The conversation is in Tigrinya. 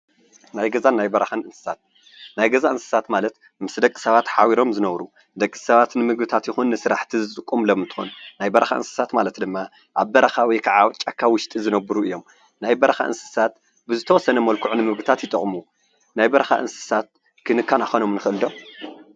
ናይ ገዛን ናይ በረካን እንስሳት፦ ናይ ገዛ እንስሳት ማለት ምስ ደቂ ሰባት ሓቢሮም ዝነብሩ ንደቂ ሰባት ንምግቢ ይኩን ንዝተፈላለዩ ስራሕቲ ዝጥቀምሎም እንትኮኑ ናይ በረካ እንስሳት ማለት ድማ ኣብ በረካ ወይክዓ ኣብ ጫካ ውሽጢ ዝነብሩ እዮም፡፡ ናይ በረካ እንስሳት ብዝተወሰነ መልክዑ ንምግብነት ይጠቅሙ፡፡ ናይ በረካ እንስሳት ክንከናከኖም ንክእል ዶ?